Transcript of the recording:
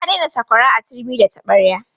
Za a daina sakwara a turmi da taɓarya.